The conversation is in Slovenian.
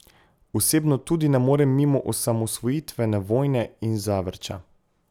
Osebno tudi ne morem mimo osamosvojitvene vojne in Zavrča.